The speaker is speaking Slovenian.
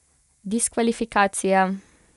Diskvalifikacija!